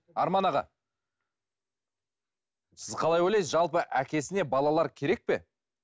арман аға сіз қалай ойлайсыз жалпы әкесіне балалар керек пе